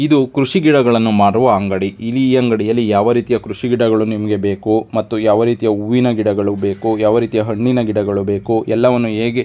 ಇದು ಕೃಷಿ ಗಡಗಳನ್ನು ಮಾರುವ ಅಂಗಡಿ. ಈ ಅಂಗಡಿಯಲ್ಲಿ ಯಾವ ರೀತಿ ಕೃಷಿ ಗಡಗಳು ನಿಮಗೆ ಬೇಕೋ ಮತ್ತು ಯಾವ ರೀತಿ ಹೂವಿನ ಗಡಗಳು ಬೇಕೋ ಯಾವ ರೀತಿ ಹಣ್ಣಿನ ಗಡಗಳು ಬೇಕೋ ಎಲ್ಲವನ್ನು ಹೇಗೆ--